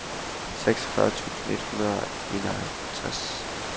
seksogfyrre tusind et hundrede og enoghalvtreds